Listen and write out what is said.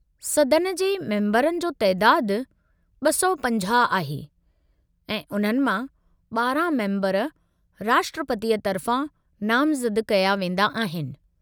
सदन जे मेम्बरनि जो तइदादु 250 आहे, ऐं उन्हनि मां 12 मेम्बर राष्ट्रपतीअ तरिफ़ा नामज़द कया वेंदा आहिनि।